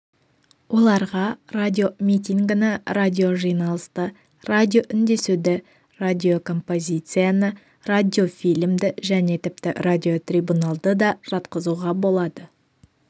оларға радиомитингіні радиожиналысты радиоүндесуді радиокомпозицияны радиофильмді және тіпті радиотрибуналды да жатқызуға болады